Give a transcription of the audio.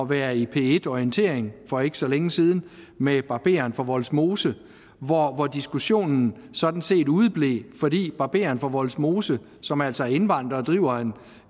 være i p1 orientering for ikke så længe siden med barberen fra vollsmose hvor hvor diskussionen sådan set udeblev fordi barberen fra vollsmose som altså er indvandrer og driver